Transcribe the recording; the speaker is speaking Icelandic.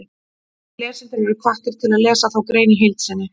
Lesendur eru hvattir til að lesa þá grein í heild sinni.